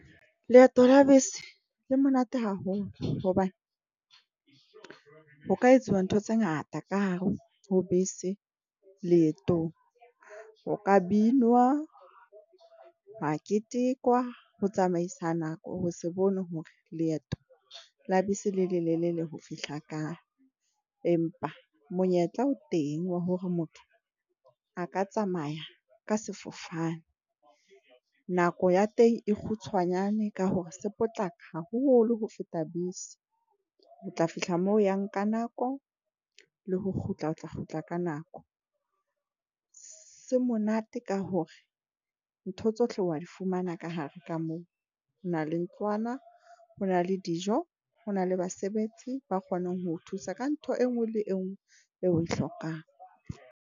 Leeto la bese le monate haholo hobane ho ka etsuwa ntho tse ngata ka hare ho bese. Leetong ho ka binwa hwa ketekwa ho tsamaisa nako ho se bone hore leeto la bese le le lelele ho fihla kae. Empa monyetla o teng wa hore motho a ka tsamaya ka sefofane. Nako ya teng e kgutshwanyane ka hore se potlaka haholo ho feta bese. O tla fihla moo yang ka nako le ho kgutla. O tla kgutla ka nako se monate ka hore ntho tsohle wa di fumana ka hare ka moo ho na le ntlwana, ho na le dijo, ho na le basebetsi ba kgonang ho thusa ka ntho e nngwe le e nngwe eo o e hlokang.